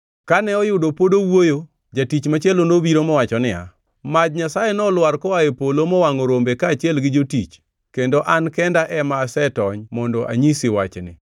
Kane oyudo pod owuoyo, jatich machielo nobiro mowacho niya, “Maj Nyasaye nolwar koa e polo mowangʼo rombe kaachiel gi jotich, kendo an kenda ema asetony mondo anyisi wachni!”